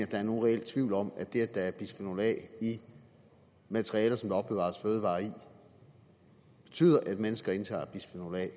der er nogen reel tvivl om at det at der er bisfenol a i materialer som der opbevares fødevarer i betyder at mennesker indtager bisfenol a